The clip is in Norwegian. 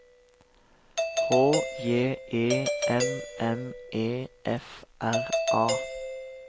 H J E M M E F R A